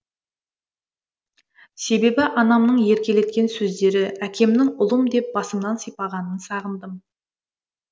себебі анамның еркелеткен сөздері әкемнің ұлым деп басымнан сипағанын сағындым